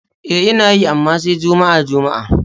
E, Ina yi, amma sai juma'a-juma'a.